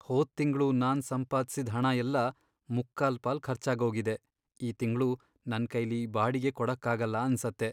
ಹೋದ್ ತಿಂಗ್ಳು ನಾನ್ ಸಂಪಾದ್ಸಿದ್ ಹಣ ಎಲ್ಲ ಮುಕ್ಕಾಲ್ಪಾಲ್ ಖರ್ಚಾಗೋಗಿದೆ, ಈ ತಿಂಗ್ಳು ನನ್ಕೈಲಿ ಬಾಡಿಗೆ ಕೊಡಕ್ಕಾಗಲ್ಲ ಅನ್ಸತ್ತೆ.